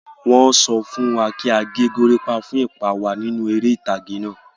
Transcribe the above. Wọ́n sọ fún wa kí a gẹ goríápá fún ipa wa nínú eré ìtàgé náà.